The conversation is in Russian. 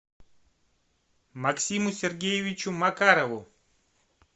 максиму сергеевичу макарову